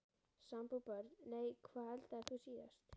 Sambúð Börn: Nei Hvað eldaðir þú síðast?